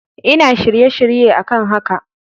Ina shirye-shirye a kan haka.